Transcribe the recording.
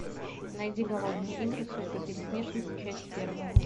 найди голодные игры сойка пересмешница часть первая